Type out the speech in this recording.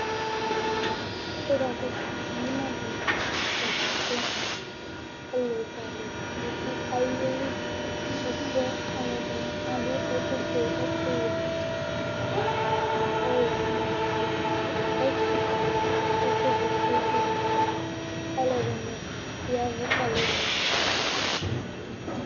kò wo ka kɔsu yɛ moa ima di ni lantɛ kɔ la kò ɔlo z'alo bi do ayili ɛfuɛ alo ɛdini adu ɛkò fue ɛkò wɛ no ɔwlɔmɔ bi do ɛfɛ ɛkò vɛ bi do ɛfɛ alo ɛdini ya vu k'alo ɛdini ta zati